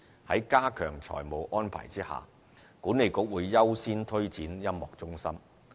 在加強財務安排下，管理局會優先推展音樂中心。